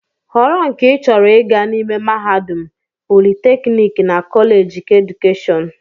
Họrọ nke ị chọrọ ịga n'ime mahadum, politeknik na kọleeji keedukeshọn!